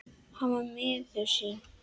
Hann var miður sín.